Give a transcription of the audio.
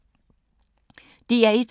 DR1